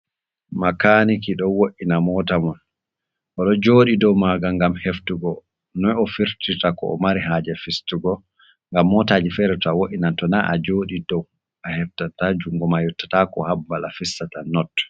Makaniki ɗo wo’ina mota mun. Oɗo joɗi dou maga ngam heftugo noi o'firtirta ko o'mari haje fistugo. Ngam motaji fere to wo’inan tona ajodi dou aheftata. Jungo ma yottatako ha babal a fistata not.